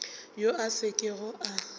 yo a sa kego a